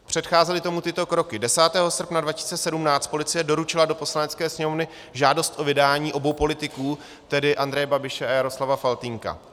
Předcházely tomu tyto kroky: 10. srpna 2017 policie doručila do Poslanecké sněmovny žádost o vydání obou politiků, tedy Andreje Babiše a Jaroslava Faltýnka.